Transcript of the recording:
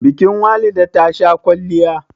bikin Walida tasha kwalliya